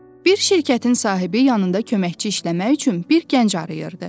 Bir şirkətin sahibi yanında köməkçi işləmək üçün bir gənc arayırdı.